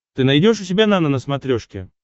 ты найдешь у себя нано на смотрешке